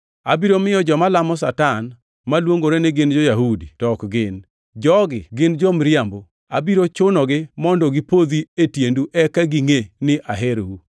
Abiro miyo joma lamo Satan, maluongore ni gin jo-Yahudi to ok gin. Jogi gin jomiriambo. Abiro chunogi mondo gipodhi e tiendu eka gingʼe ni aherou.